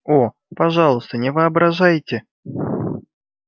о пожалуйста не воображайте